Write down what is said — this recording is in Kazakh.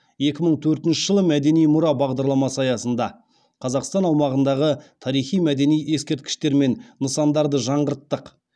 екі мың төртінші жылы мәдени мұра бағдарламасы аясында қазақстан аумағындағы тарихи мәдени ескерткіштер мен нысандарды жаңғырттық